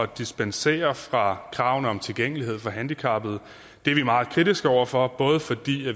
dispensere fra kravene om tilgængelighed for handicappede det er vi meget kritiske over for både fordi